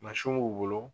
Mansinw b'u bolo